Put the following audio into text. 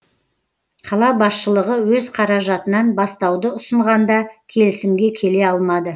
қала басшылығы өз қаражатынан бастауды ұсынғанда келісімге келе алмады